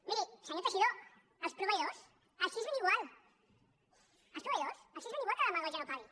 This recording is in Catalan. miri senyor teixidó als proveïdors els és ben igual als proveïdors els és ben igual que la demagògia no pagui